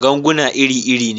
Ganguna iri-iri ne.